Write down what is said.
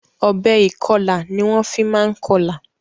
Ọ̀bẹ ìkọla ni wọ́n fi máa ń kọlà.